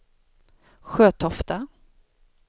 Sjötofta